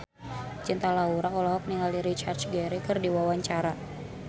Cinta Laura olohok ningali Richard Gere keur diwawancara